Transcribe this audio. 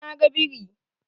Eh na ga biri.